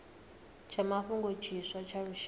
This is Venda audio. tsha mafhungo tshiswa tsha lushaka